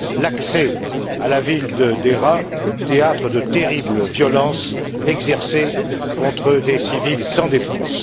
l'accès à la ville de Deraa, théâtre de terribles violences exercées contre des civils sans défense.